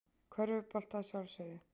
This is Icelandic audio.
Körfubolta að sjálfsögðu.